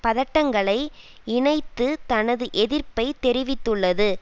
பதட்டங்களை இணைத்து தனது எதிர்ப்பை தெரிவித்துள்ளது